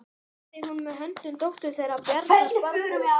Hafði hún með höndum dóttur þeirra Bjarnar, Barböru.